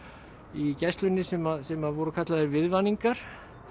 í Gæslunni sem sem voru kallaðir viðvaningar